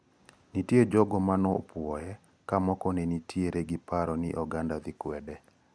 Nitie jogo mane opuoye ka moko to nenitiere gi paro ni oganda dhi kwede.